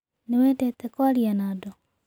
Nĩ wendete kwaria na andũ?